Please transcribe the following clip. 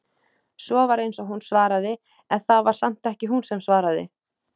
Svo var eins og hún svaraði- en það var samt ekki hún sem svaraði.